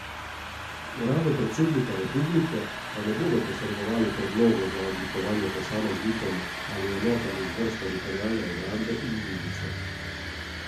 Uradu predsednika republike pa ne bodo posredovali predlogov za odlikovanja posameznikom ali enotam iz vrst Teritorialne obrambe in milice.